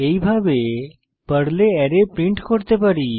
এইভাবে পর্লে array print করতে পারি